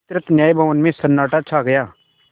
विस्तृत न्याय भवन में सन्नाटा छा गया